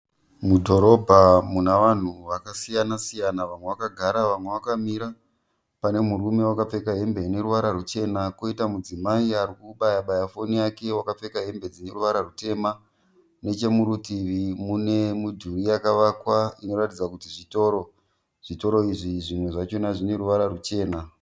Mudhorobha munavanhu vakasiyana-siyana vamwe vakagara vamwe vakamira. Pane murume wakapfeka hembe ineruvara rwuchena, koita mudzimai arikubaya-baya foni yake wakapfeka hembe dzineruvara rwutema. Nechemurutivi munemudhuri yakavakwa inoratidza kuti zvitoro. Zvitoro izvi zvimwe zvachona zvineruvara rwuchena.